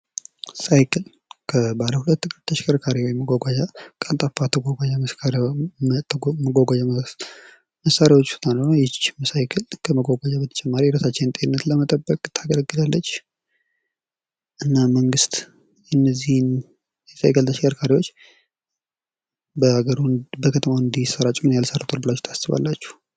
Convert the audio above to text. ሳይክል ከባለ ሁለት እግር ተሽከርካሪ መጓጓዣ ቀልጣፋ መጓጓዣ ተሽከርካሪዎች መሣሪያዎች ውስጥ አንዱ ነው ይቺንም ሳይክል ከመጓያነትን በተጨማሪ ነታችንን ለመጠበቅ ታገለግላለች። እና መንግስት እነዚህ የሳይክል ተሽከርካሪ በከተማው እንዲሰራጭ ምንያህል ሰርቷል ብላችሁ ታስባላችሁ